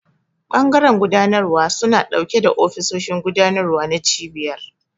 Bangaren gudanarwa suna dauke da ofisoshin gudanarwa na cibiyar.